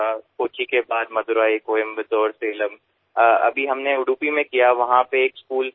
কোচিরপরে আমরা মাদুরাই কইম্বাতোর সালেম উডুপীতেও পরিচ্ছন্নতা অভিযান করেছি